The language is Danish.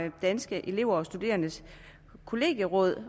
danske elever og studerendes kollegieråd